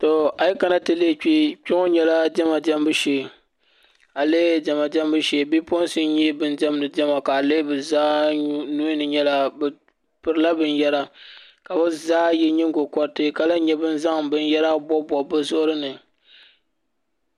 Kpɛ ŋɔ nyɛla diɛma diɛmbu shee bipuɣunsi n nyɛ bin diɛmdi Diɛma ka o lihi bi zaa nuhini bi pirila binyɛra ka bi zaa yɛ nyingokoriti ka lahi nyɛ bin zaŋ binyɛra bobbob bi zuɣuri ni